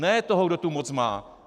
Ne toho, kdo tu moc má.